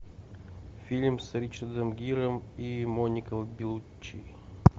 фильм с ричардом гиром и моникой беллуччи